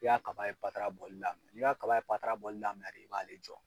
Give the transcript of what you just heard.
I ka kaba ye patara bɔli daminɛ. N'i ka kaba ye patara bɔli daminɛ de i b'ale jɔ.